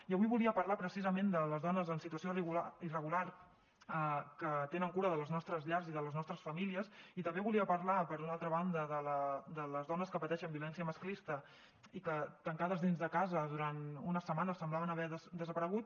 i avui volia parlar precisament de les dones en situació irregular que tenen cura de les nostres llars i de les nostres famílies i també volia parlar per una altra banda de les dones que pateixen violència masclista i que tancades dins de casa durant unes setmanes semblaven haver desaparegut